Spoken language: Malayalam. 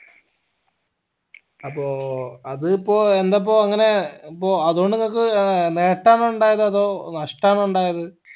അപ്പോ അത് ഇപ്പോ എന്താപ്പോ അങ്ങനെ ഇപ്പോ അതോണ്ട് നിങ്ങക്ക് ഏർ നെട്ടാണോ ഇണ്ടായത് അതോ നഷ്ട്ടണോ ഇണ്ടായത്